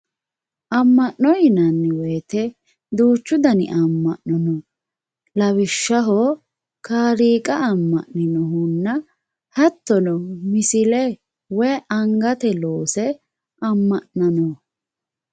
amma'no yinanni woyiite duuchu dani amma'no no lawishshaho kaaliiqa amma'newoohunna hattono misile woy angateyii loonse amma'nanno.